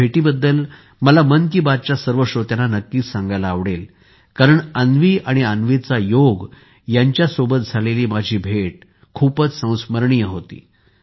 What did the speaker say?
या भेटीबद्दल मला मन कि बात च्या सर्व श्रोत्यांना नक्कीच सांगायला आवडेल कारण अन्वी आणि अन्वीचा योग यांच्यासोबाबत झालेली माझी भेट खूपच स्मरणीय होती